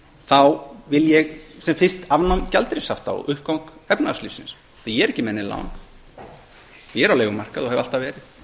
þá vil ég sem fyrst afnám gjaldeyrishafta og uppgang efnahagslífsins en ég er ekki með nein lán ég er á leigumarkaði og hef alltaf verið